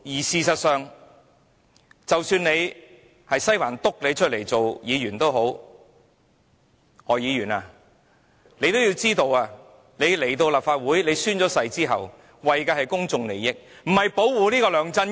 事實上，即使是西環點名力捧的議員——例如何議員——亦要知道，他們在立法會宣誓後，便應該為公眾利益服務，而非保護梁振英。